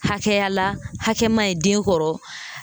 Hakɛya la hakɛ ma ɲi den kɔrɔ